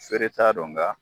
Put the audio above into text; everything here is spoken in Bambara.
Feere t'a don nga